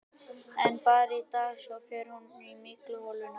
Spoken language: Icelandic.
En bara í dag, svo fer hún í mygluholuna.